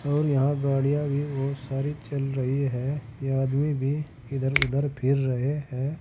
और यहां गाडियां भी बहुत सारी चल रही है ये आदमी भी इधर उधर फिर रहे हैं।